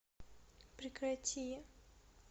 прекрати